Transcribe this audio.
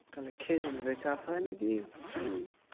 তাহলে খেজুরের চাষ হয় নাকি খালি